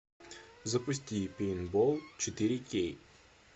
запусти пейнтбол четыре кей